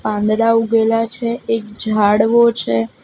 પાંદડા ઉગેલા છે એક ઝાડવો છે.